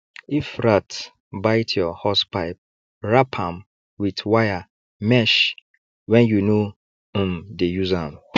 if rat bite your hosepipe wrap am with wire mesh when you no um dey use am